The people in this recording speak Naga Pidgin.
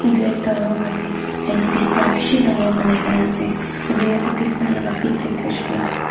itu ekta room ase yatey bisna bishi dangor panai kena ase itu bisna laga bedsheet tu hoishe koile toh --